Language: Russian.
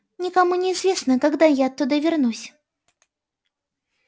никому не известно когда я оттуда вернусь